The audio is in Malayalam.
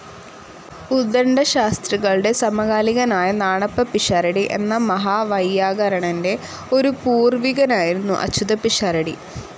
ഉദ്ദണ്ഡശാസ്ത്രികളുടെ സമകാലികനായ നാണപ്പപ്പിഷാരടി എന്ന മഹാവൈയാകരണന്റെ ഒരു പൂർവികനായിരുന്നു അച്യുതപ്പിഷാരടി.